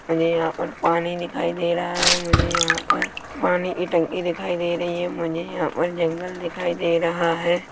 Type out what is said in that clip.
मुझे यहाँ पर पानी दिखाई दे रहा है मुझे यहाँ पर पानी की टंकी दिखाई दे रही है मुझे यहाँ पर जंगल दिखाई दे रहा है।